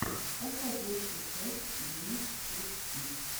поставь лучшую часть линус теч типс